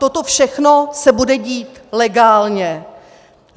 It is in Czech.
Toto všechno se bude dít legálně.